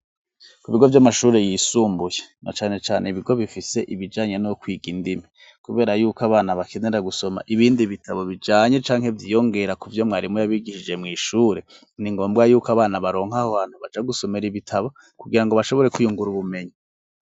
Ku bigo vy'amashuri yisumbuye, na cane cane ibigo bifise ibijanye no kwiga indimi, kubera yuko abana bakenera gusoma ibindi bitabo bijanye canke vyiyongera ku vyo mwarimu yabigishije mw'ishure, ni ngombwa yuko abana baronka aho hantu baja gusomera ibitabo, kugira ngo bashobore kwiyungura ubumenyi.